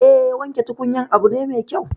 Eh, wanke tukunyar abu ne mai kyau